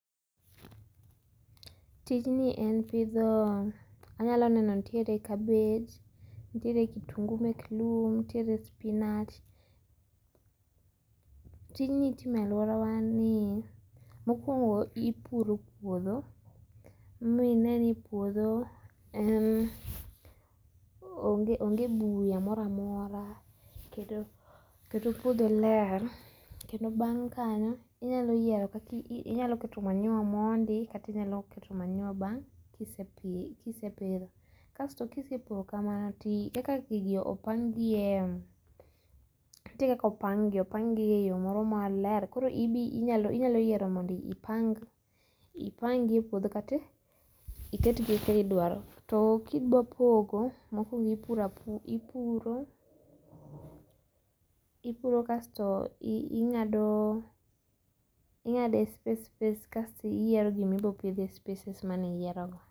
Tijni en pidho anyalo neno nitiere cabbage nitiere kitungu mek lum niere spinach tijni itomo e aluorawani mokuongo ipuro puodho ma ineni puodho onge buya mora mora kendo puotho ler kendo bang' kanyo inyalo keto manyiwa mondi kata inyalo keto manyiwa bang' kisepidhe kasto kisepuro kamano kaka gigi opang' gi nitie kaka opangi' opang gi eyo moro maler koro ibi inyalo yiere mondo ipang ipangi e puotho kati eketgi kika idwaro to kidwa pogo mokuongo ipuro apuro kasto ing'ado inga'do e space space kasti iyiero gima ibiro pitho e spaces mane iyierogo.